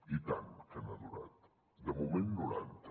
i tant que n’ha durat de moment noranta